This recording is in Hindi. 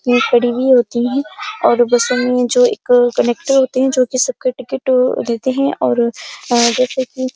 ये खड़ी भी होती हैं और बस मै जो एक कनेक्टर होते हैं ओ जोकि सबके टिकिट अ लेते हैं और जैसाकि--